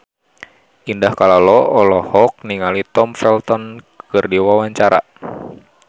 Indah Kalalo olohok ningali Tom Felton keur diwawancara